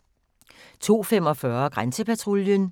02:45: Grænsepatruljen 03:35: Soldier